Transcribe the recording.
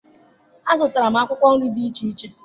Azụtara m akwụkwọ nri dị iche iche